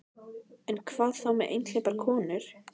En hvað þá með einhleypar konur?